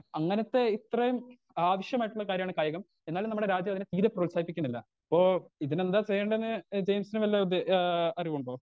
Speaker 2 അങ്ങനത്തെ ഇത്രേം ആവശ്യമായിട്ടുള്ളൊരു കാര്യാണ് കായികം എന്നാലും നമ്മുടെ രാജ്യതിനെ തീരെ പ്രോത്സാഹിപ്പിക്കുന്നില്ല ഇപ്പൊ ഇതിനെന്താ ചെയ്യേണ്ടേന്ന് ഏ ജെയിംസിന് വല്ല ഉദ്ദേ ആ അറിവുണ്ടോ.